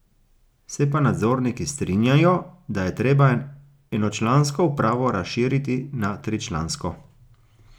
Se pa nadzorniki strinjajo, da je treba enočlansko upravo razširiti na tričlansko.